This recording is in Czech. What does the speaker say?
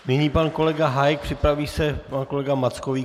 Nyní pan kolega Hájek, připraví se pan kolega Mackovík.